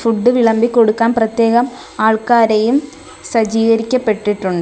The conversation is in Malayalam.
ഫുഡ് വിളമ്പി കൊടുക്കാൻ പ്രത്യേകം ആൾക്കാരെയും സജീകരിക്കപ്പെട്ടിട്ടുണ്ട്.